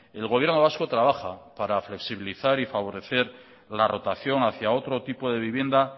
el gobierno vasco trabaja para flexibilizar y favorecer la rotación hacia otro tipo de vivienda